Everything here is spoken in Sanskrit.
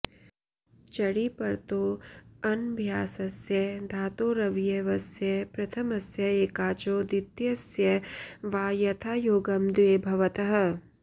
चङि परतो ऽनभ्यासस्य धातोरवयवस्य प्रथमस्य एकाचो द्वितीयस्य वा यथायोगम् द्वे भवतः